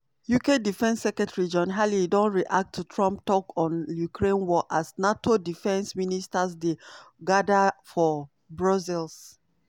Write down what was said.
uk defence secretary john healey don react to trump tok on ukraine war as nato defence ministers dey gada for brussels.